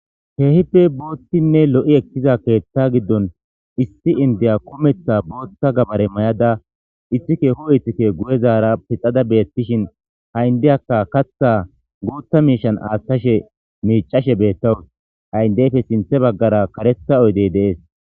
keehippe boottinne lo7i ekkiza keetta giddon issi indeya kometha bootta gabare mayada issi keeho ithkke guyezaara pixada beettishin ha7indiyakka katha guuta miishan asashe miicashe beettawus haindeyfe sinthe baggara karetha oydey deees